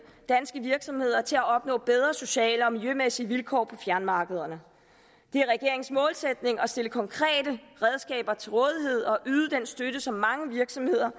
danske virksomheder til at opnå bedre sociale og miljømæssige vilkår på fjernmarkederne det er regeringens målsætning at stille konkrete redskaber til rådighed og yde den støtte som mange virksomheder